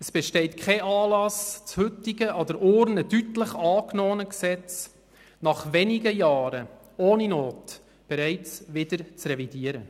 Es besteht kein Anlass, das heutige, an der Urne deutlich angenommene Gesetz nach wenigen Jahren ohne Not bereits wieder zu revidieren.